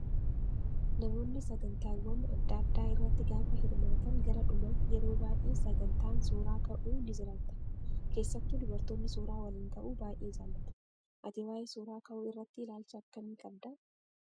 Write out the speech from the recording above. Namoonni sagantaawwan adda addaa irratti gaafa hirmaatan gara dhumaatti yeroo baay'ee sagantaan suuraa ka'uu ni jiraata. Keessattuu dubartoonni suuraa waliin ka'uu baay'ee jaallatu. Ati waayee suuraa ka'uu irratti ilaalcha akkamii qabdaa?